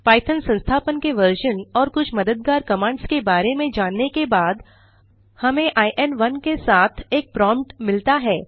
Python संस्थापन के version और कुछ मददगार कमांड्स के बारे में जानने के बाद हमें In1 के साथ एक प्रोम्प्ट मिलता है